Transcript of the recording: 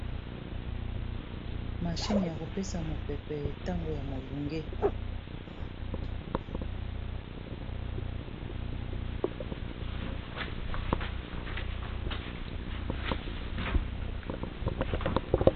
Machine ya kopesa mopepe ntango ya molunge.